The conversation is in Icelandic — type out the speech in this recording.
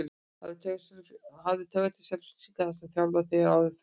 Hef taugar til Selfyssinga þar sem ég þjálfaði þá hér áður fyrr.